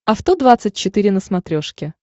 авто двадцать четыре на смотрешке